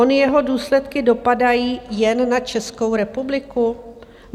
Ony jeho důsledky dopadají jen na Českou republiku?